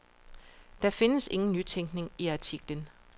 Der findes ingen nytænkning i artiklen.